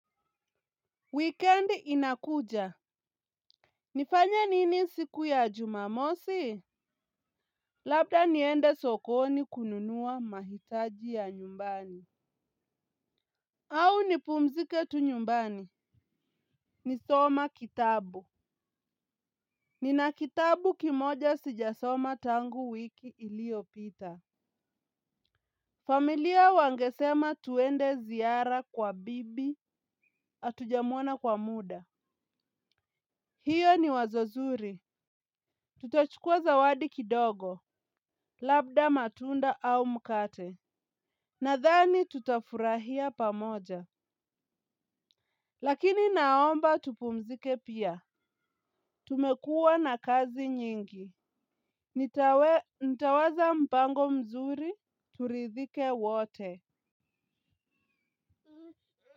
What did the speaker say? Weekend inakuja. Nifanye nini siku ya jumamosi? Labda niende sokoni kununua mahitaji ya nyumbani. Au nipumzike tunyumbani. Ni soma kitabu. Nina kitabu kimoja sijasoma tangu wiki iliyopita. Familia wangesema twende ziara kwa bibi hatujamuona kwa muda. Hiyo ni wazonzuri. Tutachukua zawadi kidogo. Labda matunda au mkate nadhani tutafurahia pamoja lakini naomba tupumzike pia tumekua na kazi nyingi nitawe nitaweza mpango mzuri turidhike wote.